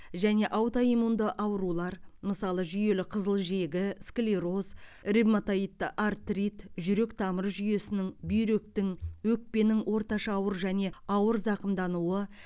және аутоиммунды аурулар мысалы жүйелі қызыл жегі склероз ревматоидты артрит жүрек тамыр жүйесінің бүйректің өкпенің орташа ауыр және ауыр зақымдануы